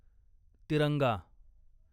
तिरंगा